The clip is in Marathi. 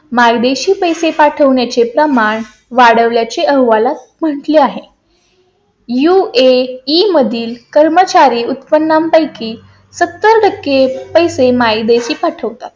मायदेशी पैसे पाठवण्या चे प्रमाण वाढल्या चे अहवालात म्हटले आहे . UAE मधील कर्मचारी उत्पन्ना पैकी सत्तर टक्के पैसे मायदेशी पाठवतात.